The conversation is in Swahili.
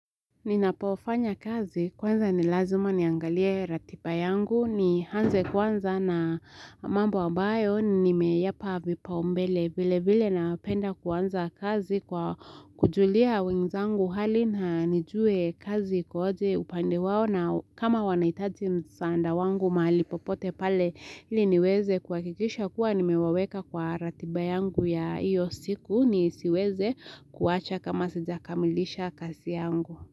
Ninapofanya kazi kwanza nilazima niangalie ratiba yangu ni hanze kwanza na mambo ambayo nimeyapa vipa umbele vile vile napenda kwanza kazi kwa kujulia wenzangu hali na nijue kazi iko aje upande wao na kama wanaitaji msanda wangu mahali popote pale ili niweze kuakikisha kuwa nimewaweka kwa ratiba yangu ya iyo siku ni siweze kuacha kama sijakamilisha kazi yangu.